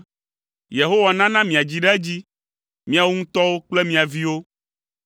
Yehowa nana miadzi ɖe edzi, miawo ŋutɔwo kple mia viwo.